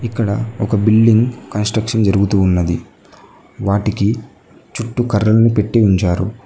ఇక్కడ ఒక building construction జరుగుతు ఉన్నది వాటికి చుట్టూ కర్రలను పెట్టి ఉంచారు.